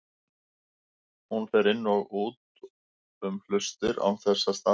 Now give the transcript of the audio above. Hún fer inn og út um hlustir án þess að staðnæmast.